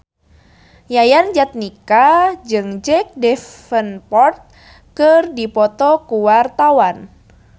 Yayan Jatnika jeung Jack Davenport keur dipoto ku wartawan